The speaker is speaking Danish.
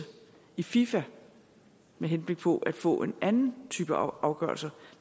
i fifa med henblik på at få en anden type afgørelse